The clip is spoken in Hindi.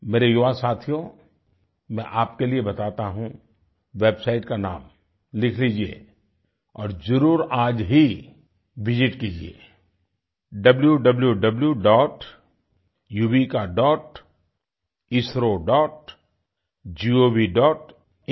मेरे युवा साथियों मैं आपके लिए बताता हूँ वेबसाइट का नाम लिख लीजिये और जरुर आज ही विसित कीजिये wwwyuvikaइसरोgovइन